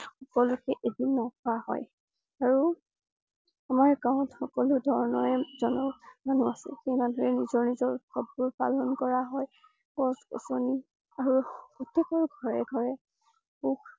সকলোতে এদিন ৰখা হয়। আৰু আমাৰ গাঁৱত সকলো ধৰণৰে জনগোষ্ঠীৰ মানুহ আছে। সেই মানুহে নিজৰ নিজৰ উৎসৱ বোৰ পালন কৰা হয়। গছ গছনী আৰু প্ৰত্যেকৰে ঘৰে ঘৰে সুখ